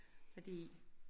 Fordi